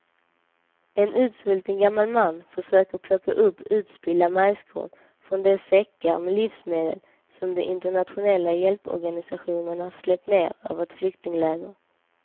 En utsvulten gammal man försöker plocka upp utspillda majskorn från de säckar med livsmedel som de internationella hjälporganisationerna släppt ner över ett flyktingläger.